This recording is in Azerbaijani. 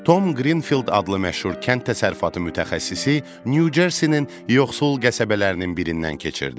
Tom Qrinfield adlı məşhur kənd təsərrüfatı mütəxəssisi Nyu-Cersinin yoxsul qəsəbələrinin birindən keçirdi.